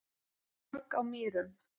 Borg á Mýrum